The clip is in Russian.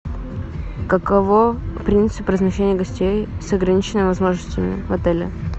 каково принцип размещения гостей с ограниченными возможностями в отеле